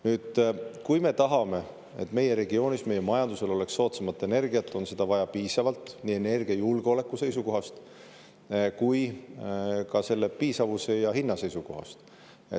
Nüüd, kui me tahame, et meie regioonis, meie majandusele oleks soodsam energia, siis on seda vaja piisavalt nii energiajulgeoleku seisukohast kui ka hinna seisukohast.